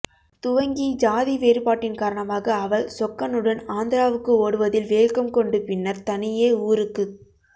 துவங்கி ஜாதி வேறுபாட்டின் காரணமாக அவள் சொக்கனுடன் ஆந்திராவுக்கு ஓடுவதில் வேகம் கொண்டு பின்னர் தனியே ஊருக்குத்